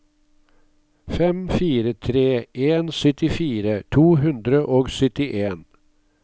fem fire tre en syttifire to hundre og syttien